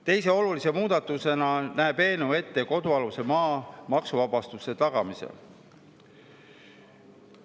Teise olulise muudatusena näeb eelnõu ette kodualuse maa maksuvabastuse tagamise.